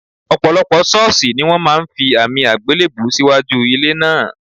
Ò̩pò̩lo̩pò̩ s̩ó̩ò̩s̩ì ní wó̩n máa fi àmì àgbélèbú síwájú ilé náà